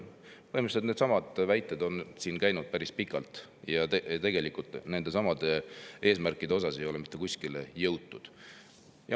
Neidsamu väiteid on siin päris pikka aega, aga tegelikult pole nende eesmärkide puhul mitte kuskile jõutud.